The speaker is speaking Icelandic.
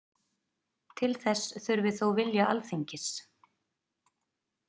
Til þess þurfi þó vilja Alþingis